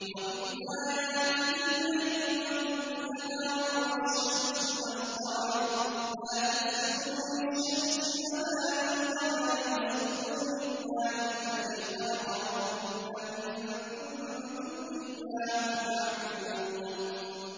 وَمِنْ آيَاتِهِ اللَّيْلُ وَالنَّهَارُ وَالشَّمْسُ وَالْقَمَرُ ۚ لَا تَسْجُدُوا لِلشَّمْسِ وَلَا لِلْقَمَرِ وَاسْجُدُوا لِلَّهِ الَّذِي خَلَقَهُنَّ إِن كُنتُمْ إِيَّاهُ تَعْبُدُونَ